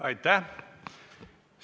Aitäh!